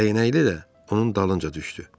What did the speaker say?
Dəyənəkli də onun dalınca düşdü.